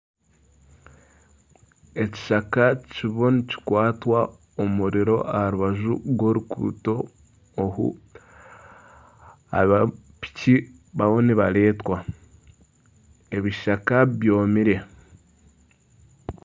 Ekishaka kiriho nikikwata omuriro aha rubaju rw'oruguuto oru. Aba piki bariho nibareetwa, ebishaka byomire.